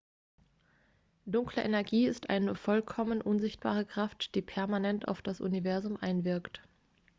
dunkle energie ist eine vollkommen unsichtbare kraft die permanent auf das universum einwirkt